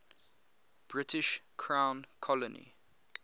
british crown colony